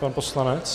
Pan poslanec.